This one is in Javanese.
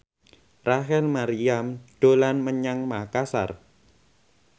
Rachel Maryam dolan menyang Makasar